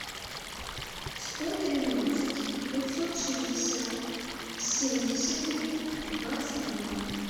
сто тринадцать пятьсот шестьдесят семьдесят три двадцать два